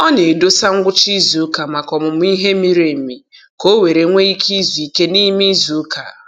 Ọ na-edosa ngwụcha izuụka maka ọmụmụ ihe miri emi ka o were nwee ike zuo ike n'ime izuụka.